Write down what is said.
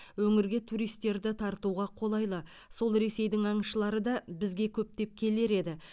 өңірге туристерді тартуға қолайлы сол ресейдің аңшылары да бізге көптеп келер еді